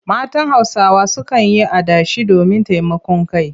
Matan Hausawa sukan yi adashi domin taimakon kai.